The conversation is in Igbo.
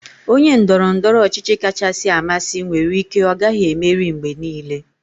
Onye ndoro-ndoro ochichi kachasị amasị nwere ike ọ gaghị emeri mgbe niile.